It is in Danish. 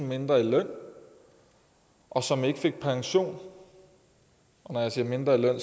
mindre i løn og som ikke fik pension når jeg siger mindre i løn